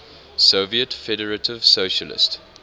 soviet federative socialist